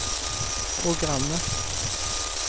programmet